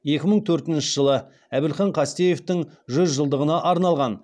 екі мың төртінші жылы әбілхан қастеевтің жүз жылдығына арналған